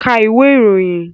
Ka ìwé ìròyìn!